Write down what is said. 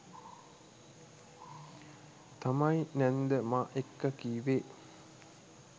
තමයි නැන්ද මා එක්ක කීවේ.